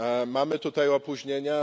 Mamy tutaj opóźnienia.